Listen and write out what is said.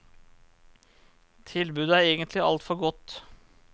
Tilbudet er egentlig alt for godt.